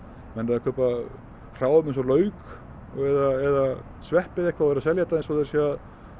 menn eru að kaupa hráefni eins og lauk eða sveppi eða eitthvað og eru að selja þetta eins og þeir séu